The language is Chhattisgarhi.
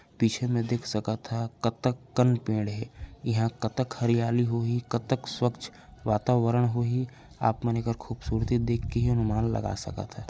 पीछे में देख सकथो कतक कन पेड़ हे इंहा कतक हरियाली होही कतक स्वच्छ वातावरण होही आप मन एखर खूबसूरती देख के ही अनुमान लगा सकथो।